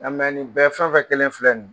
Ni bɛɛ fɛn o fɛn kɛlen filɛ ni ye